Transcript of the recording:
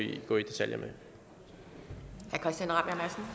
de kriterier hvorefter